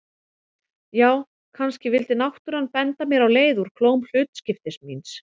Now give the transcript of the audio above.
Já, kannski vildi náttúran benda mér á leið úr klóm hlutskiptis míns.